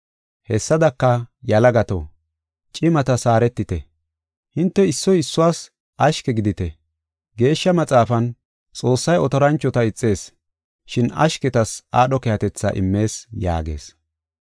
Hessadaka, yalagato, cimatas haaretite. Hinte issoy issuwas ashke gidite. Geeshsha Maxaafan, “Xoossay otoranchota ixees, shin ashketas aadho keehatetha immees” yaagees.